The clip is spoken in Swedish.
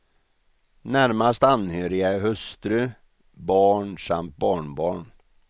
Närmast anhöriga är hustru, barn samt barnbarn.